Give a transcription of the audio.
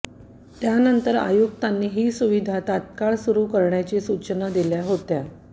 त्यानंतर आयुक्तांनी ही सुविधा तत्काळ सुरू करण्याच्या सूचना दिल्या होत्या